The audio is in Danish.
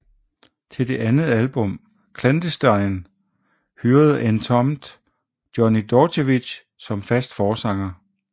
Til det andet album Clandestine hyrede Entombed Johnny Dordevic som fast forsanger